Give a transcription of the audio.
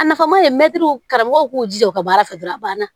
A nafama de mɛtiriw karamɔgɔw k'u jija u ka baara fɛ dɔrɔn a banna